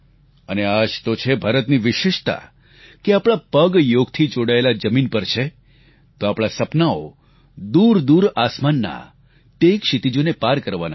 અને આ જ તો ભારતની વિશેષતા છે કે આપણા પગ યોગથી જોડાયેલા જમીન પર છે તો આપણા સપનાઓ દૂરદૂર આસમાનના તે ક્ષિતિજોને પાર કરવાના છે